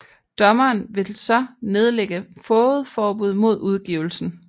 Dommeren vil så nedlægge fogedforbud mod udgivelsen